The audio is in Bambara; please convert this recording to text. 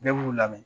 Bɛɛ b'u lamɛn